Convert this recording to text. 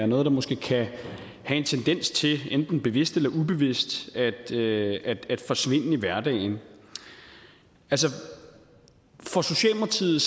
noget man måske kan have en tendens til enten bevidst eller ubevidst at lade forsvinde i hverdagen altså for socialdemokratiet